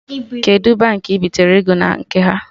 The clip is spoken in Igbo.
Kedụ Baankị ị bitere ego na nke ha?